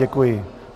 Děkuji.